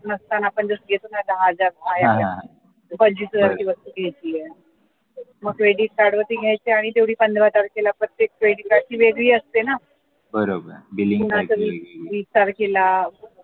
नसताना पण आपण घेतो न दहा हजार पंचवीस हजाराची वस्तू घेतलीये मग credit card वरती घ्यायची आणि तेवढी पंधरा तारखेला प्रत्येक credit card ची वेगळी असते न म्हणजे आता वीस तारखेला